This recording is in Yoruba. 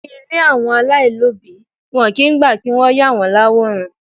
Ní ilé àwọn alailobi, wọn kì í gbà kí wọ́n yà wọ́n l'àwòrán.